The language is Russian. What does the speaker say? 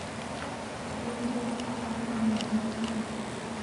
лилия тонконогова